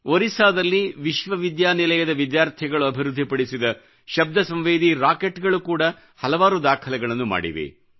ಒರಿಸ್ಸಾದಲ್ಲಿ ವಿಶ್ವವಿದ್ಯಾನಿಲಯದ ವಿದ್ಯಾರ್ಥಿಗಳು ಅಭಿವೃದ್ಧಿ ಪಡಿಸಿದ ಶಬ್ದ ಸಂವೇದಿ ರಾಕೆಟ್ ಗಳು ಕೂಡ ಹಲವಾರು ದಾಖಲೆಗಳನ್ನು ಮಾಡಿವೆ